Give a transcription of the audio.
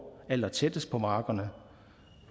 allertættest på markerne